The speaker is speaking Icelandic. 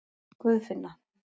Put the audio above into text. Guðfinna